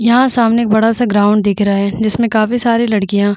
यहाँ सामने एक बड़ा सा ग्राउंड दिख रहा है जिसमें काफी सारे लड़कियाँ --